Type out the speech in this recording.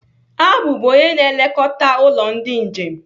Abu bụ onye na-elekọta ụlọ ndị njem